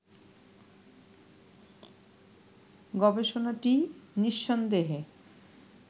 গবেষণাটি নিঃসন্দেহে